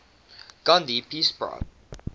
gandhi peace prize